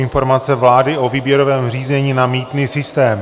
Informace vlády o výběrovém řízení na mýtný systém